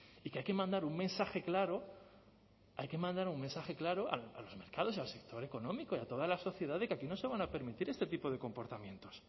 y que hay que mandar un mensaje claro hay que mandar un mensaje claro a los mercados al sector económico y a toda la sociedad de que aquí no se van a permitir este tipo de comportamientos